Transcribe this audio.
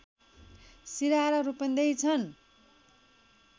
सिरहा र रूपन्देही छन्